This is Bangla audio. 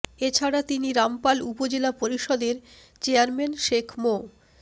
এ ছাড়া তিনি রামপাল উপজেলা পরিষদের চেয়ারম্যান শেখ মো